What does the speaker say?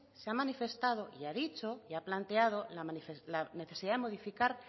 se ha manifestado y ha dicho y ha planteado la necesidad de modificar